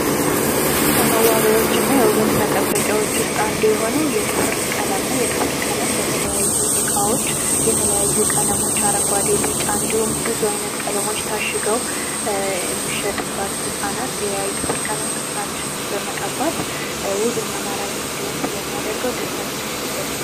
ከመዋቢያዎችና የውበት መጠበቂያዎች ውስጥ አንዱ የሆነው የጥፍር ቀለም ነው። የጥፍር ቀለም በተለያዩ እቃዎች የተለያዩ ቀለሞች አረንጓዴ ፣ ቢጫ እንዲሁም ብዙ አይነት ቀለሞች ታሽገው የሚሸጡባት እቃ ናት። ያ የጥፍር ቀለም ጥፍራችን በመቀባት ውብና ማራኪ እንዲሆን ስለሚያደርገው ደስታቸውን ይገልጻል።